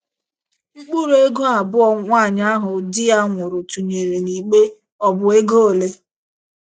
Mkpụrụ ego abụọ nwaanyị ahụ di ya nwụrụ tụnyere n’igbe ọ̀ bụ ego ole?